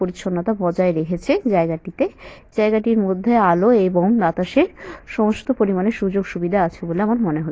পরিচ্ছন্নতা বজায় রেখেছে জায়গাটিতে। জায়গাটির মধ্যে আলো এবং বাতাসে সমস্ত পরিমাণে সুযোগ-সুবিধা আছে বলে আমার মনে হচ্ছে।